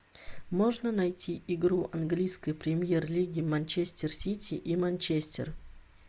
можно найти игру английской премьер лиги манчестер сити и манчестер